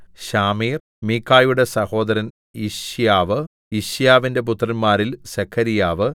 ശാമീർ മീഖയുടെ സഹോദരൻ യിശ്ശ്യാവു യിശ്ശ്യാവിന്റെ പുത്രന്മാരിൽ സെഖര്യാവു